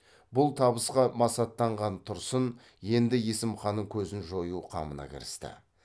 бұл табысқа масаттанған тұрсын енді есім ханның көзін жою қамына кірісті